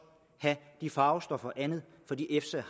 have de farvestoffer og andet fordi efsa